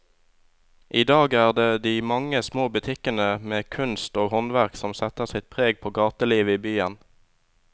I dag er det de mange små butikkene med kunst og håndverk som setter sitt preg på gatelivet i byen.